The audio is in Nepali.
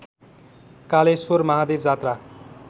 कालेश्वर महादेवजात्रा